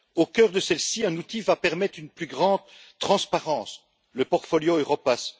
Au cœur de celle ci, un outil va permettre une plus grande transparence le portfolio Europass.